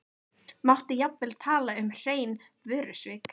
Mátti jafnvel tala um hrein vörusvik.